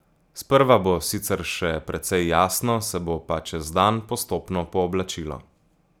Sprva bo sicer še precej jasno, se bo pa čez dan postopno pooblačilo.